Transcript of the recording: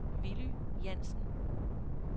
Villy Jansen